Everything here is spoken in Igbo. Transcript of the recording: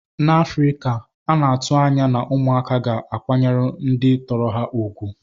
N'Afrika, a na-atụ anya na ụmụaka ga-akwanyere ndị tọrọ ha ùgwù.